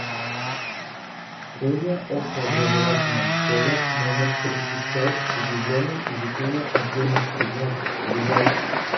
средняя общеобразовательная школа номер тридцать пять с углубленным изучением отдельных предметов ближайший